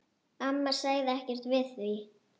Amma sagði ekkert við því.